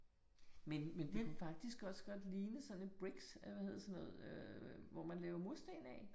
Men men det kunne faktisk også lige sådan en bricks eller hvad hedder sådan noget øh øh hvor man laver musten ud af